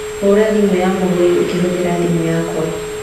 ũra thimũ ya mũgũri ũkĩhũthĩra thimũ yakwa